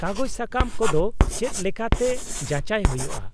-ᱠᱟᱜᱚᱡᱽ ᱥᱟᱠᱟᱢ ᱠᱚᱫᱚ ᱪᱮᱫ ᱞᱮᱠᱟᱛᱮ ᱡᱟᱪᱟᱭ ᱦᱩᱭᱩᱜᱼᱟ ?